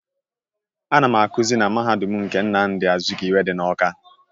Ana m akụzi na mahadum nke Nnamdi Azikiwe dị n'Ọ́ká.